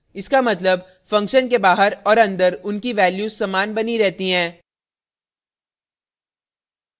* इसका मतलब function के बाहर और अंदर उनकी values समान बानी रहती हैं